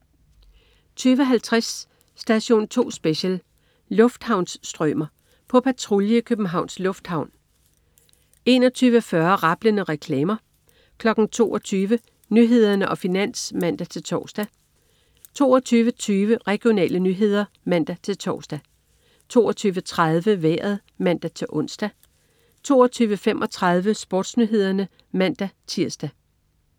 20.50 Station 2 Special: Lufthavnsstrømer. På patrulje i Københavns Lufthavn 21.40 Rablende reklamer 22.00 Nyhederne og Finans (man-tors) 22.20 Regionale nyheder (man-tors) 22.30 Vejret (man-ons) 22.35 SportsNyhederne (man-tirs)